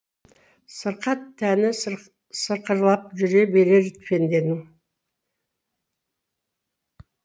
сырқат тәні сықырлапжүре берер пенденің